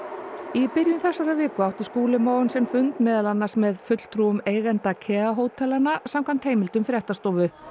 í byrjun þessarar viku átti Skúli Mogensen fund meðal annars með fulltrúum eigenda samkvæmt heimildum fréttastofu